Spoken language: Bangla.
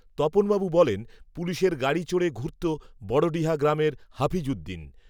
তপনবাবু বলেন পুলিশের গাড়ি চড়ে ঘুরত বড়ডিহা গ্রামের হাপিজুদ্দিন